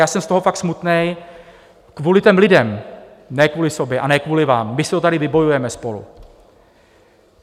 Já jsem z toho fakt smutný, kvůli těm lidem, ne kvůli sobě a ne kvůli vám, my si to tady vybojujeme spolu.